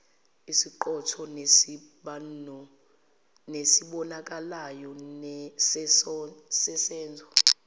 esiqotho nesibonakalayo sesenzo